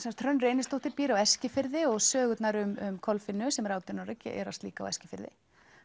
Hrönn Reynisdóttir býr á Eskifirði sögurnar um Kolfinnu sem er átján ára gerast líka á Eskifirði